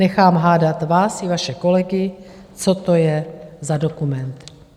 Nechám hádat vás i vaše kolegy, co to je za dokument.